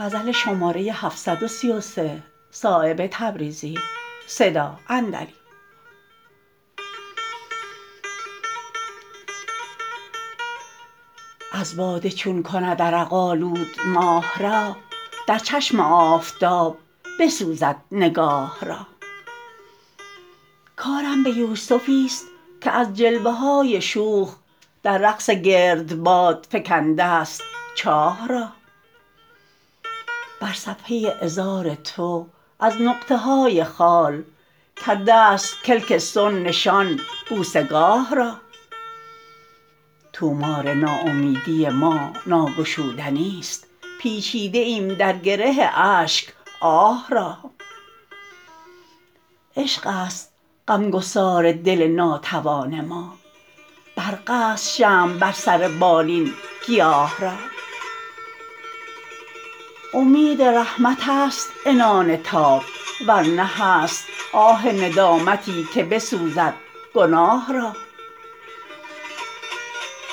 از باده چون کند عرق آلود ماه را در چشم آفتاب بسوزد نگاه را کارم به یوسفی است که از جلوه های شوخ در رقص گردباد فکنده است چاه را بر صفحه عذار تو از نقطه های خال کرده است کلک صنع نشان بوسه گاه را طومار ناامیدی ما ناگشودنی است پیچیده ایم در گره اشک آه را عشق است غمگسار دل ناتوان ما برق است شمع بر سر بالین گیاه را امید رحمت است عنان تاب ورنه هست آه ندامتی که بسوزد گناه را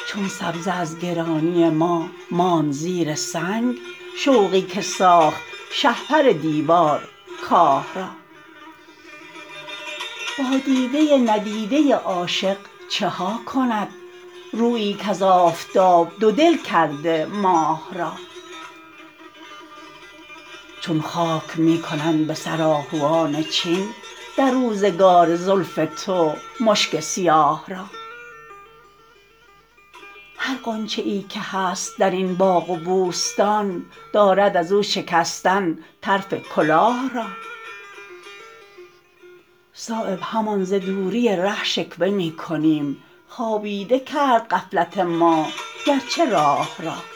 چون سبزه از گرانی ما ماند زیر سنگ شوقی که ساخت شهپر دیوار کاه را با دیده ندیده عاشق چها کند رویی کز آفتاب دو دل کرده ماه را چون خاک می کنند به سر آهوان چین در روزگار زلف تو مشک سیاه را هر غنچه ای که هست درین باغ و بوستان دارد ازو شکستن طرف کلاه را صایب همان ز دوری ره شکوه می کنیم خوابیده کرد غفلت ما گرچه راه را